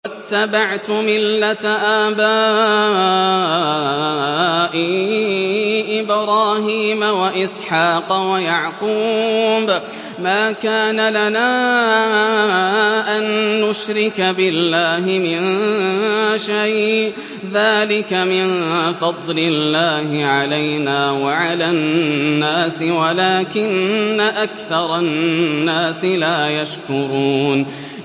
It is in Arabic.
وَاتَّبَعْتُ مِلَّةَ آبَائِي إِبْرَاهِيمَ وَإِسْحَاقَ وَيَعْقُوبَ ۚ مَا كَانَ لَنَا أَن نُّشْرِكَ بِاللَّهِ مِن شَيْءٍ ۚ ذَٰلِكَ مِن فَضْلِ اللَّهِ عَلَيْنَا وَعَلَى النَّاسِ وَلَٰكِنَّ أَكْثَرَ النَّاسِ لَا يَشْكُرُونَ